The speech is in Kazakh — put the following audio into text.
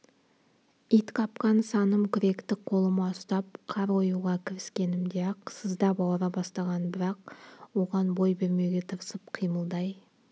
ит қапқан саным күректі қолыма ұстап қар оюға кіріскенімде-ақ сыздап ауыра бастаған бірақ оған бой бермеуге тырысып қимылдай